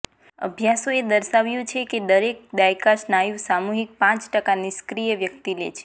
અભ્યાસોએ દર્શાવ્યું છે કે દરેક દાયકા સ્નાયુ સામૂહિક પાંચ ટકા નિષ્ક્રિય વ્યક્તિ લે છે